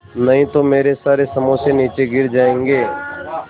नहीं तो मेरे सारे समोसे नीचे गिर जायेंगे